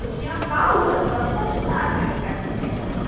Eu tinha paúra só de imaginar que eu ia ficar desempregada.